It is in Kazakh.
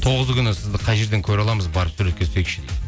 тоғызы күні сізді қай жерден көре аламыз барып суретке түсейікші дейді